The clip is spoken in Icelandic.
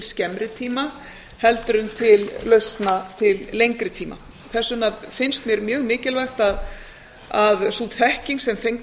skemmri tíma heldur en til lausna til lengri tíma þess vegna finnst mér mjög mikilvægt að sú þekking sem